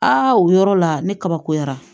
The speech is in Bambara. Aa o yɔrɔ la ne kabakoyara